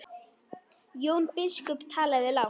Jón biskup talaði lágt.